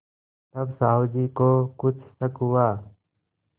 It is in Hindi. तब साहु जी को कुछ शक हुआ